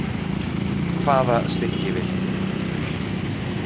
Hvaða stykki viltu?